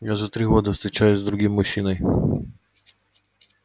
я уже три года встречаюсь с другим мужчиной